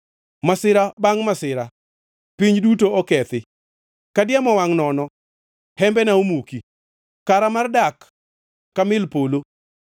Masira bangʼ masira; piny duto okethi. Ka diemo wangʼ nono hembena omuki, kara mar dak ka mil polo.